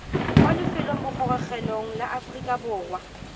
kwa lefelobogorogelong la aforika borwa